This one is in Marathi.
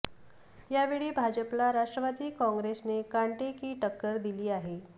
यावेळी भाजपला राष्ट्रवादी कॉंग्रेसने कांटे की टक्कर दिली आहे